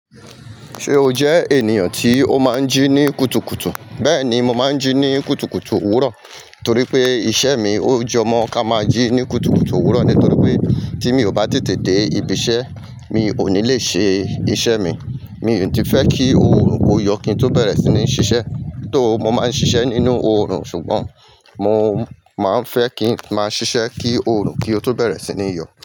Ṣé o jẹ ènìyàn tí ó máa ń jí ní kùtùkùtù? Bẹ́ẹ̀ni, mo máa ń jí ní kùtùkùtù òwúrọ̀ torí pé iṣẹ́ mi ó jọmọ́ ká máa jí ní kùtùkùtù òwúrọ̀ nítorí pé tí mi ò bá tètè dé ibi iṣẹ́ mi ò ní le ṣe iṣẹ́ mi. Mi ò tí fẹ́ kí oòrùn ó yọ kí n tó bẹ̀rẹ̀ sí ní ṣiṣẹ́ tó mo máa ń ṣiṣẹ́ nínú oòrùn ṣùgbọ́n mo máa ń fẹ́ kí màá ṣiṣẹ́ kí oòrùn kí ó tó bẹ̀rẹ̀ sí ní yọ.